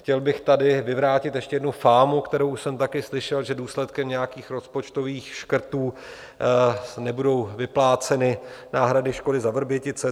Chtěl bych tady vyvrátit ještě jednu fámu, kterou jsem taky slyšel, že důsledkem nějakých rozpočtových škrtů nebudou vypláceny náhrady škody za Vrbětice.